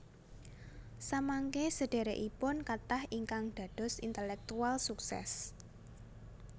Samangké sedherekipun kathah ingkang dados intelektual sukses